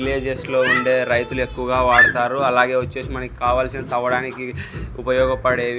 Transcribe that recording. Villages లో ఉండే రైతులు ఎక్కువగా వాడతారు అలాగే వచ్చేసి మనకి కావాల్సిన తవ్వడానికి ఉపయోగపడేవి.